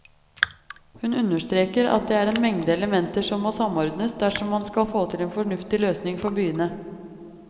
Hun understreker at det er en mengde elementer som må samordnes dersom man skal få til en fornuftig løsning for byene.